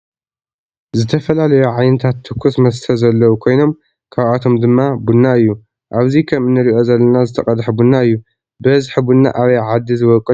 ዝተፈላለዩ ዓይነታት ትኩስ መስተ ዘለው ኮይኖም ካብአቶም ድማ ቡና እዩ። አብዚ ከም እንሪኦ ዘለና ዝተቀድሐ ቡና እዩ። ብበዚሒ ቡና አበይ ዓዲ ዝቦቅል ይመስለኩም?